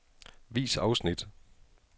Vis afsnit.